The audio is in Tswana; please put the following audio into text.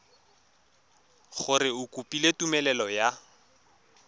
gore o kopile tumelelo ya